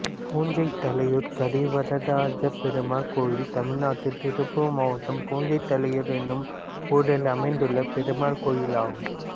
புஞ்சைத்தலையூர் கரிவரதராஜப்பெருமாள் கோயில் தமிழ்நாட்டில் திருப்பூர் மாவட்டம் புஞ்சைத்தலையூர் என்னும் ஊரில் அமைந்துள்ள பெருமாள் கோயிலாகும்